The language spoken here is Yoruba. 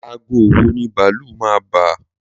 Aago wo ni bàálù máa bà?